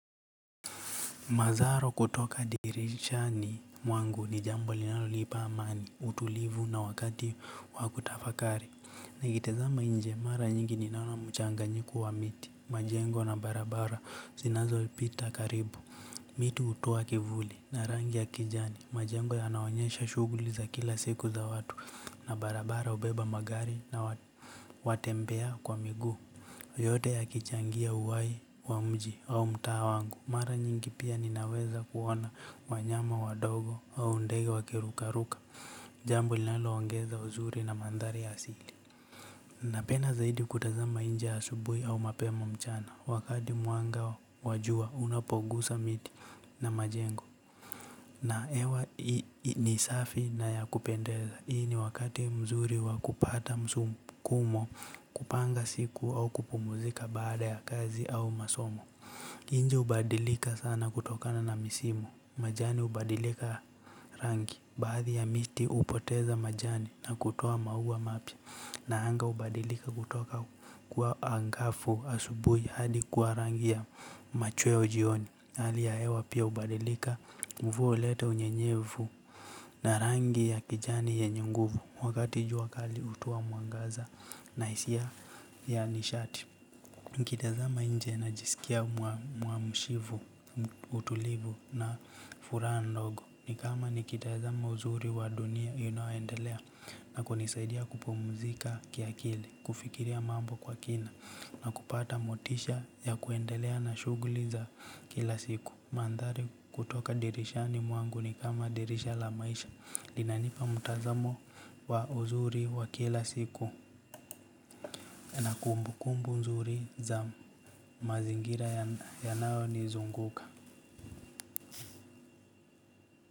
Mazaro kutoka dirisha ni mwangu ni jambo linalolipa amani, utulivu na wakati wa kutafakari. Nikitazama nje, mara nyingi ninaona mchanganyiko wa miti, majengo na barabara zinazopita karibu. Miti hutwa kivuli na rangi ya kijani, majengo yanaonyesha shughuli za kila siku za watu na barabara hubeba magari na watembea kwa miguu. Yote ya kichangia uhai wa mji au mtaa wangu. Mara nyingi pia ninaweza kuona wanyama wadogo au ndege wakirukaruka. Jambo linaloongeza uzuri na mandhari ya asili. Napenda zaidi kutazama nje asubuhi au mapema mchana. Wakati mwanga wa jua unapoguza miti na majengo. Na hewa ni safi na ya kupendeza, hii ni wakati mzuri wa kupata msukumo kupanga siku au kupumuzika baada ya kazi au masomo nchi hubadilika sana kutokana na misimu, majani hubadilika rangi, baadhi ya miti hupoteza majani na kutoa maua mapya. Na anga hubadilika kutoka kuwa angafu asubuhi hadi kwa rangi ya machweo jioni. Hali ya hewa pia hubadilika mvua hulete unyenyevu na rangi ya kijani yenye nguvu. Wakati jua kali hutoa mwangaza na hisia ya nishati. Nikitazama nje najisikia mwa mshivu, utulivu na furaha ndogo. Nikama nikitazama uzuri wa dunia inayoendelea na kunisaidia kupumuzika kiakili, kufikiria mambo kwa kina na kupata motisha ya kuendelea na shughuli za kila siku. Mandhari kutoka dirishani mwangu ni kama dirisha la maisha. Linanipa mutazamo wa uzuri wa kila siku. Na kumbu kumbu nzuri za mazingira yanayonizunguka.